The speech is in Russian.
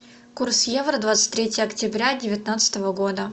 курс евро двадцать третье октября девятнадцатого года